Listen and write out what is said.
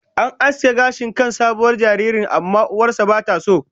An aske gashin kan sabuwar jaririyar, amma uwar ta bata so ba